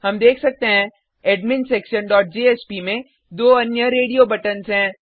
हम देख सकते हैं adminsectionjspमें दो अन्य रेडियो बटन्स हैं